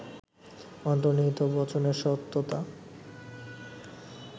অন্তর্নিহিত বচনের সত্যতা